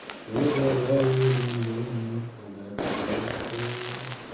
ты давай ерундой не страдай пожалуйста